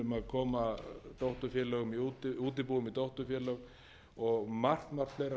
koma útibúum í dótturfélög í útibúum í dótturfélög og margt fleira mætti tína þannig til